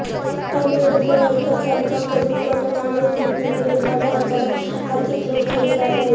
त्यामुळे रुग्णवाहिका चालकांकडून मनमानी पद्धतीने भाडे आकारत आर्थिक लूट केली जात आहे